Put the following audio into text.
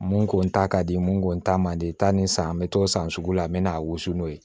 Mun ko ta ka di mun ko ta man di tan ni san bɛ t'o san sugu la n bɛ na a wusu n'o ye